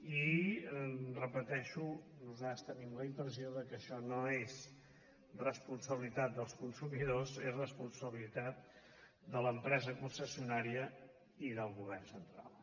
i ho repeteixo nosaltres tenim la impressió que això no és responsabilitat dels consumidors és responsabilitat de l’empresa concessionària i del govern central